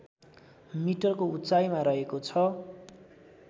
मिटरको उचाइमा रहेको छ